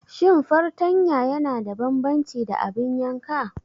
Shin fartanya yana da bambanci da abin yanka?